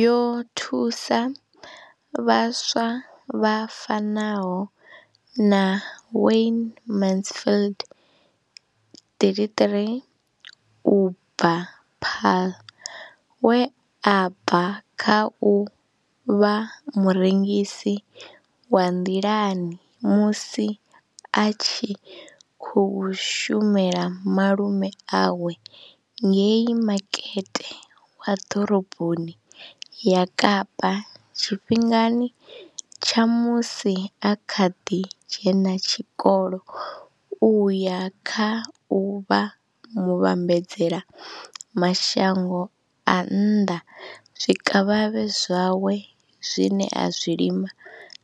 Yo thusa vhaswa vha fanaho na Wayne Mansfield, 33, u bva Paarl, we a bva kha u vha murengisi wa nḓilani musi a tshi khou shumela malume awe ngei Makete wa Ḓoroboni ya Kapa tshifhingani tsha musi a kha ḓi dzhena tshikolo u ya kha u vha muvhambadzela mashango a nnḓa zwikavhavhe zwawe zwine a zwi lima